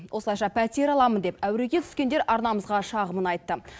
осылайша пәтер аламын деп әуреге түскендер арнамызға шағымын айтты